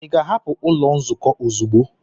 Ị ga-ahapụ ụlọ nzukọ ozugbo!